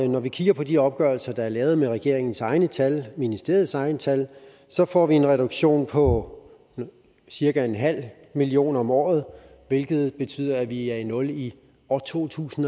når vi kigger på de opgørelser der er lavet med regeringens egne tal ministeriets egne tal får vi en reduktion på cirka en halv million om året hvilket betyder at vi er i nul i år to tusind